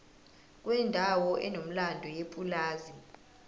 kwendawo enomlando yepulazi